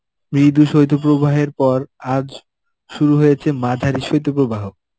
মৃদু শৈত্য প্রবাহের পর আজ শুরু হয়েছে মাঝারি শৈত্য প্রবাহ.